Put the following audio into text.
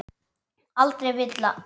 Aldrei villa.